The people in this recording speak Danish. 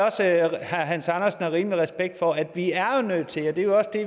at herre hans andersen har rimelig meget respekt for at vi er nødt til at